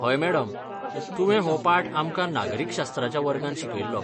हय मॅडम, तुवें हो पाठ आमकां नागरिकशास्त्राच्या वर्गांत शिकयल्लो.